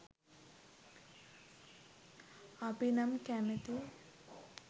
අපි නම් කැමතී